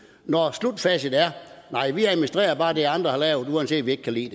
når slutfacit er nej vi administrerer bare det andre har lavet uanset at vi ikke kan lide